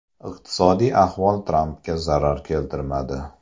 Iqtisodiy ahvol Trampga zarar keltirmadi.